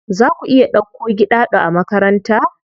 Za ku iya dauko Giɗaɗo a makaranta?